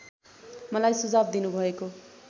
मलाई सुझाव दिनुभएको